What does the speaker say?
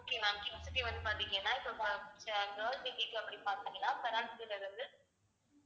okay ma'am kids க்கு வந்து பாத்தீங்கன்னா இப்ப bo~ அஹ் girls kids அப்படி பாத்தீங்கன்னா இருந்து